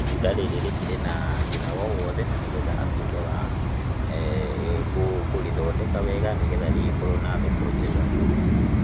itunda rĩrĩ rĩkĩrĩ na thĩna o wothe na nĩgetha atwĩke wa kũrĩthondeka wega nĩ getha rĩgĩkorwo na thoko njega,